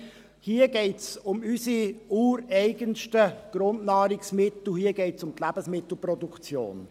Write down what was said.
Hier geht es um unsere ureigensten Grundnahrungsmittel, hier geht es um die Lebensmittelproduktion.